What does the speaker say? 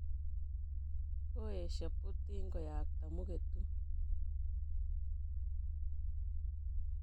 Koesyo putin koyakto mugetut